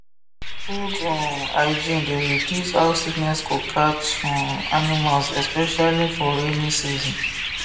good um hygiene dey reduce how sickness go catch um animals especially for rainy season